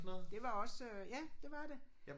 Det var også øh ja det var det